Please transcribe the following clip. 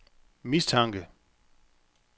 mistanke